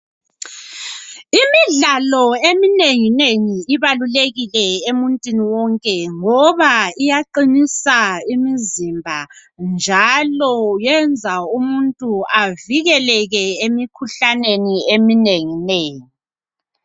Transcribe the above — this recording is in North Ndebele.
Imidlalo eminengi nengi ibalulekile emuntwini wonke ngoba iyaqinisa imizimba njalo yenza umuntu avikeleke emikhuhlaneni eminengi nengi.